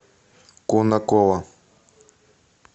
конаково